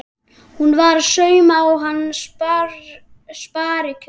Hún var að sauma á hana sparikjól.